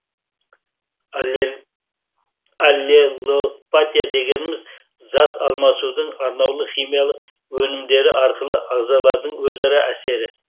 аллелопатия дегеніміз зат алмасудың арнаулы химиялық өнімдері арқылы ағзалардың өзара әсері